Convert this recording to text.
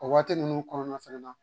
O waati ninnu kɔnɔna fana na